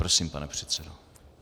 Prosím, pane předsedo.